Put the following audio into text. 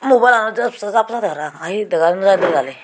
mubile lan para pang i degai naw jai dole dale.